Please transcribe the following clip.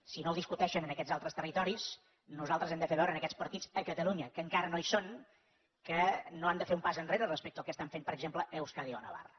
si no ho discuteixen en aquests altres territoris nosaltres hem de fer veure a aquests partits a catalunya que encara no hi són que no han de fer un pas enrere respecte al que estan fent per exemple a euskadi o navarra